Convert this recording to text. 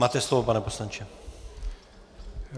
Máte slovo, pane poslanče.